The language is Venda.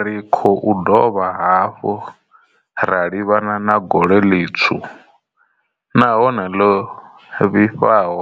Ri khou dovha hafhu ra livhana na gole ḽitswu nahone ḽo vhifhaho